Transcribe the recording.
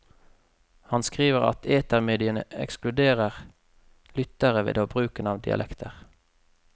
Han skriver at etermediene ekskluderer lyttere ved bruken av dialekter.